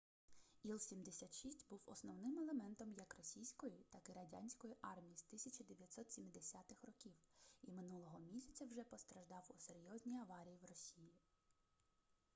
іл-76 був основним елементом як російської так і радянської армій з 1970-х років і минулого місяця вже постраждав у серйозній аварії в росії